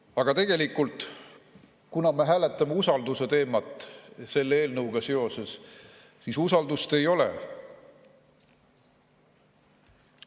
Aga tegelikult, kuna me hääletame selle eelnõuga seoses usalduse teemat, siis usaldust ei ole.